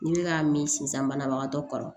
Ni n bɛ ka min sin sisan banabagatɔ kɔrɔ